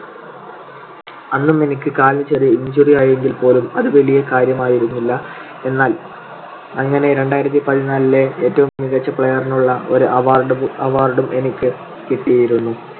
അന്നും എനിക്ക് കാലിന് ചെറിയ injury ആയെങ്കിൽപോലും അത് വലിയ കാര്യമായിരുന്നില്ല. എന്നാൽ അങ്ങനെ രണ്ടായിരത്തിപതിനാലിലെ ഏറ്റവും മികച്ച player നുള്ള ഒരു award~award ഉം എനിക്ക് കിട്ടിയിരുന്നു.